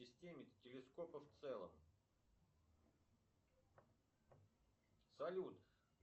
салют для шестнадцати семнадцатилетних детей живших только при путине он бог